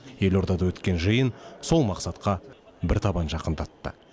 елордада өткен жиын сол мақсатқа бір табан жақындатты